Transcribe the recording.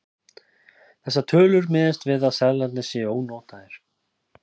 Þessar tölur miðast við að seðlarnir séu ónotaðir.